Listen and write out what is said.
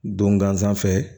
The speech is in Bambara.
Don gansan fɛ